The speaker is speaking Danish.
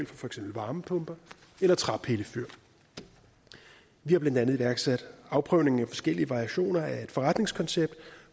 for eksempel varmepumper eller træpillefyr vi har blandt andet iværksat afprøvning af forskellige variationer af et forretningskoncept